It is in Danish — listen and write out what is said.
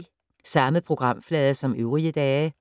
Samme programflade som øvrige dage